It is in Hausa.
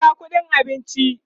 ka biya ƙuɗin abincin!